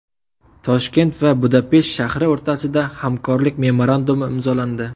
Toshkent va Budapesht shahri o‘rtasida hamkorlik memorandumi imzolandi.